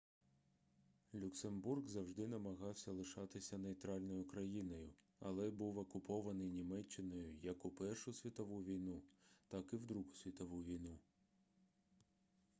люксембург завжди намагався лишатися нейтральною країною але був окупований німеччиною як у першу світову війну так і в другу світову війну